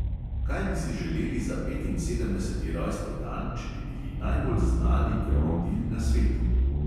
Kaj bi si želeli za petinsedemdeseti rojstni dan, če bi bili najbolj znani krokodil na svetu?